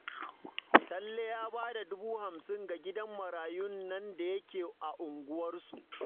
Talle ya ba da dubu hamsin ga gidan marayun nan da yake a unguwarsu